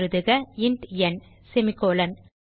எழுதுக int n semicolon